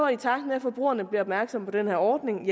i takt med at forbrugerne bliver opmærksom på den her ordning